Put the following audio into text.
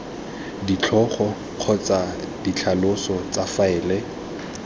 ditlhogo kgotsa ditlhaloso tsa faele